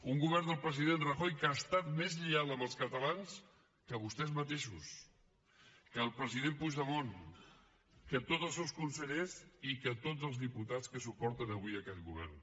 un govern del president rajoy que ha estat més lleial amb els catalans que vostès mateixos que el president puigdemont que tots els seus conselleres i que tots els diputats que suporten avui aquest govern